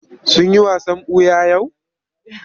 Sun yi wasan ɓuya yau?